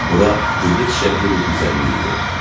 Bura güllü-çiçəkli bir düzənlik idi.